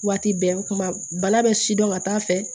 Waati bɛɛ kuma bana bɛ sidɔn ka t'a fɛ